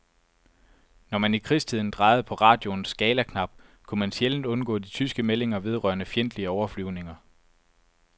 Når man i krigstiden drejede på radioens skalaknap, kunne man sjældent undgå de tyske meldinger vedrørende fjendtlige overflyvninger.